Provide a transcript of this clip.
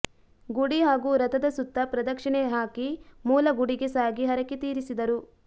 ಗುಡಿ ಹಾಗೂ ರಥದ ಸುತ್ತ ಪ್ರದಕ್ಷಿಣೆ ಹಾಕಿ ಮೂಲ ಗುಡಿಗೆ ಸಾಗಿ ಹರಕೆ ತೀರಿಸಿದರು